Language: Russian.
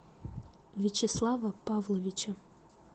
вячеслава павловича